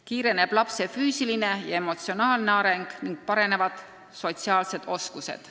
Kiireneb lapse füüsiline ja emotsionaalne areng ning paranevad sotsiaalsed oskused.